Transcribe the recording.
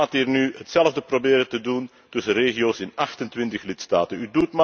U gaat nu hetzelfde proberen te doen tussen regio's in 28 lidstaten.